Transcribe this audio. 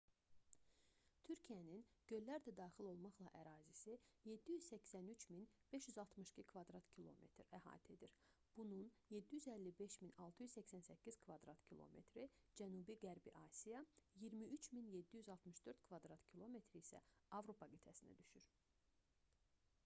türkiyənin göllər də daxil olmaqla ərazisi 783562 kv. km 300948 kv. mil. əhatə edir bunun 755688 kv. km 291773 kv. mil cənubi-qərbi asiya 23764 kv. km 9174 kv. mil isə avropa qitəsinə düşür